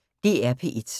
DR P1